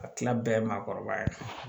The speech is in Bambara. A tila bɛɛ ye maakɔrɔba ye